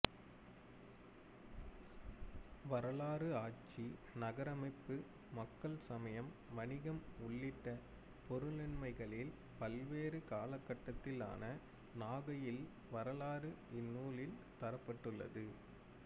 வரலாறு ஆட்சி நகரமைப்பு மக்கள் சமயம் வணிகம் உள்ளிட்ட பொருண்மைகளில் பல்வேறு காலகட்டத்திலான நாகையில் வரலாறு இந்நூலில் தரப்பட்டுள்ளது